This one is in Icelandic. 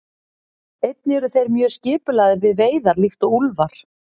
Einnig eru þeir mjög skipulagðir við veiðar líkt og úlfar.